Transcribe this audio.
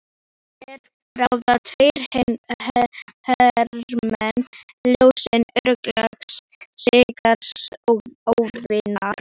Hér ráða tveir hermenn ljóssins örlögum sigraðs óvinar.